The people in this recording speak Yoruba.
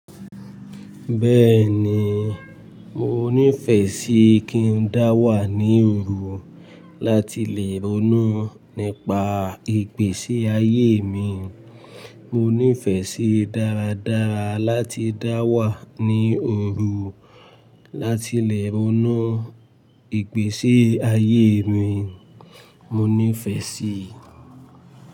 Bẹ́ẹ̀ni, mo nífẹsí kí n dáwà ní òru láti lè ronú nípa ìgbésí ayé mi. Mo nífẹsí dáradára láti dáwà ní òru láti lè ronú ìgbésí ayé mi, mo nífẹsí.